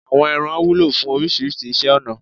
Àwọ ẹran wúlò fún oríṣiríṣi iṣẹ́ ọnà.